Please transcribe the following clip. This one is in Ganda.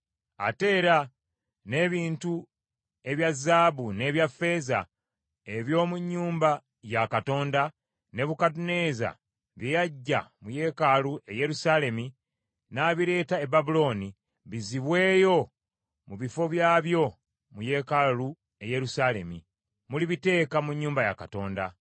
Ate era n’ebintu ebya zaabu n’ebya ffeeza eby’omu nnyumba ya Katonda, Nebukadduneeza bye yaggya mu yeekaalu e Yerusaalemi n’abireeta e Babulooni, bizibweyo mu bifo byabyo mu yeekaalu e Yerusaalemi; mulibiteeka mu nnyumba ya Katonda.